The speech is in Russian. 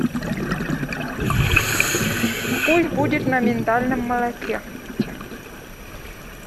пусть будет на миндальном молоке